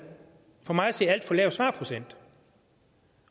for mig at se alt for lav svarprocent